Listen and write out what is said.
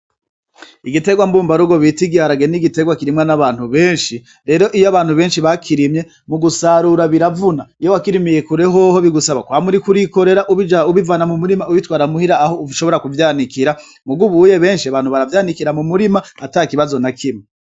Igiterwa mbumbarugo bita igiharage ni igiterwa kirimwa n'abantu benshi, rero iyo abantu benshi bakirimye mugusarura biravuna. Iyo wakirimiye kure hoho bigusaba mwama uriko urikorera ubivana mumurima ubijana muhira aho ushobora kuvyanikira. Mugabo ubuya benshi abantu baravyanikira mumurima atakibazo na kimwe.